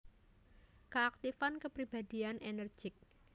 Keaktifan kepribadian energetik